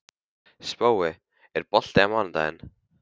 Spói, er bolti á mánudaginn?